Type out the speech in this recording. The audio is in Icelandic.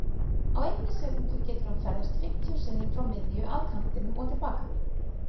Á einni sekúndu getur hann ferðast fimmtíu sinnum frá miðju, að kantinum og til baka.